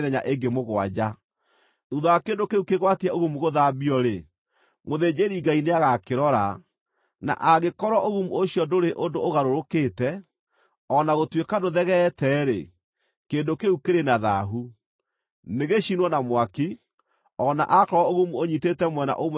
Thuutha wa kĩndũ kĩu kĩgwatie ũgumu gũthambio-rĩ, mũthĩnjĩri-Ngai nĩagakĩrora, na angĩkorwo ũgumu ũcio ndũrĩ ũndũ ũgarũrũkĩte, o na gũtuĩka ndũthegeete-rĩ, kĩndũ kĩu kĩrĩ na thaahu. Nĩgĩcinwo na mwaki, o na aakorwo ũgumu ũnyiitĩte mwena ũmwe kana ũrĩa ũngĩ.